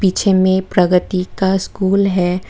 पीछे में प्रगति का स्कूल है।